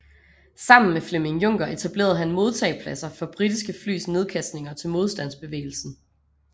Sammen med Flemming Juncker etablerede han modtagepladser for britiske flys nedkastninger til modstandsbevægelsen